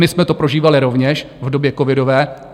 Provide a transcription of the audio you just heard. My jsme to prožívali rovněž v době covidové.